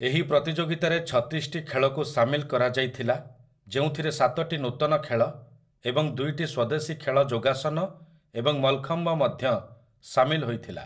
ଏହି ପ୍ରତିଯୋଗିତାରେ ଛତିଶଟି ଖେଳକୁ ସାମିଲ କରାଯାଇଥିଲା ଯେଉଁଥିରେ ସାତଟି ନୂତନ ଖେଳ ଏବଂ ଦୁଇଟି ସ୍ୱଦେଶୀ ଖେଳ ଯୋଗାସନ ଏବଂ ମଲ୍‌ଖମ୍ବ ମଧ୍ୟ ସାମିଲ ହୋଇଥିଲା ।